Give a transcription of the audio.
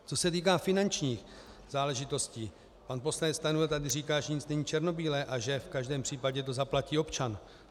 Co se týká finančních záležitostí, pan poslanec Stanjura tady říká, že nic není černobílé a že v každém případě to zaplatí občan.